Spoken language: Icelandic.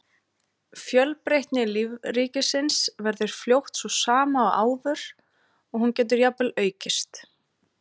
Fjölbreytni lífríkisins verður fljótt sú sama og áður og hún getur jafnvel aukist.